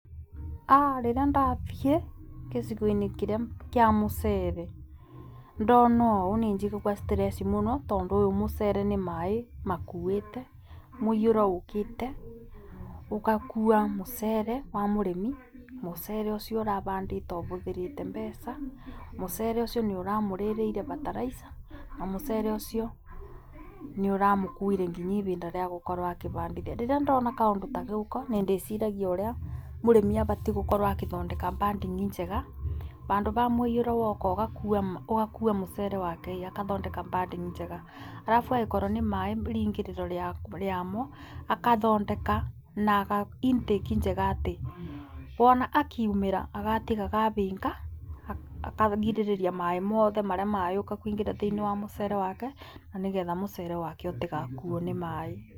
Rĩrĩa ndathiĩ gĩcigo-inĩ kiria kĩa mũcere ndona ũũ nĩ njigagua stress mũno tondũ ũyũ mũcere nĩ maĩĩ makuĩte, mũiyũro ũũkĩte ũgakua mũcere wa mũrĩmi, mũcere ũcio ũrabandĩtwo abũthĩrĩte mbeca, mũcere ũcio nĩũramũrĩrĩire fertilizer na mũcere ucio nĩũramũkuĩre nginya ibinda rĩa gũkorwo akĩbandithia; rĩrĩa ndona ka ũndũ ta gaka nĩ ndĩciragia ũrĩa mũrĩmi abatiĩ gũkorwo akithondeka banding njega bandũ ba mũiyũro woka ũgakua mũcere wake akathondeka banding njega, arabu angĩkorwo nĩ maĩĩ riingĩrĩro rĩamo akathondeka na intake njega atĩ wona akiumĩra agatigaga abinga akagirĩrĩria maĩĩ mothe marĩa mayũka kwĩngĩra thĩinĩ wa mũcere wake na nĩ getha mũcere wake ũtigakuo nĩ maĩĩ .